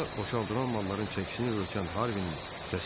Sonra boşaldılan malların çəkisini ölçən Harvinin səsi eşidildi.